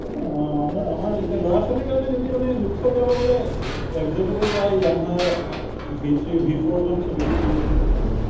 অ, আমাৰ, আমাৰ এতিয়া ল’ৰা ছোৱালীৰ কাৰণে যদি মানে looks ত যাব গ’লে FZ তে যায় yamah, v three, v four খন বেছি চলি আছে এতিয়া।